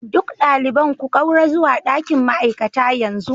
Duk ɗaliban ku ƙaura zuwa ɗakin ma'aikata yanzu